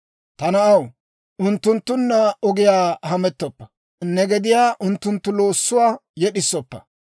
Ta na'aw, unttunttunna ogiyaa hamettoppa; ne gediyaa unttunttu loossuwaa yed'isoppa.